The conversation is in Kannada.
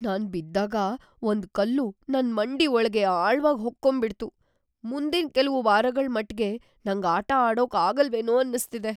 ನಾನ್ ಬಿದ್ದಾಗ ಒಂದ್ ಕಲ್ಲು ನನ್ ಮಂಡಿ ಒಳ್ಗೆ ಆಳವಾಗ್‌ ಹೊಕ್ಕೊಂಬಿಡ್ತು. ಮುಂದಿನ್ ಕೆಲ್ವು ವಾರಗಳ್‌ ಮಟ್ಗೆ ನಂಗ್ ಆಟ ಆಡೋಕ್‌ ಆಗಲ್ವೇನೋ ಅನ್ನಿಸ್ತಿದೆ.